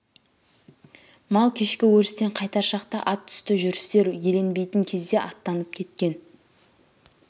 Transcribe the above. мал кешкі өрістен қайтар шақта ат үсті жүрістер еленбейтін кезде аттанып кеткен